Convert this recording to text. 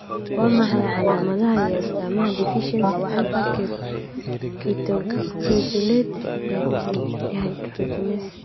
Waa maxay calaamadaha iyo astaamaha deficiency Alpha ketoglutarate dehydrogenase?